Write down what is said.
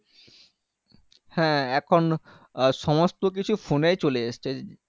হ্যাঁ এখন সমস্ত কিছু phone এর চলে এসছে